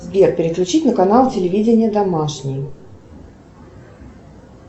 сбер переключить на канал телевидение домашний